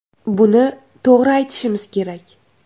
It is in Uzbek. Buni to‘g‘ri aytishimiz kerak.